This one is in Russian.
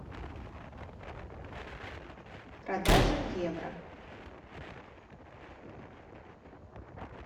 продажа евро